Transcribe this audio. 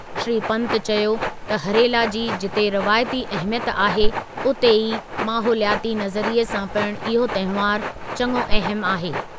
श्री पन्त चयो त हरेला जी जिते रवायती अहमियत आहे, उते ई माहोलियाती नज़रिए सां पिणु इहो तहिंवारु चङो अहमु आहे।